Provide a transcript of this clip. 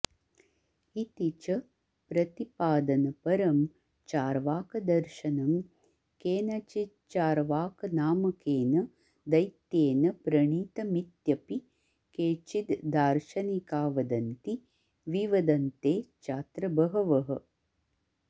इति च प्रतिपादनपरं चार्वाकदर्शनं केनचिच्चार्वाकनामकेन दैत्येन प्रणीत मित्यपि केचिद् दार्शनिका वदन्ति विवदन्ते चात्र बहवः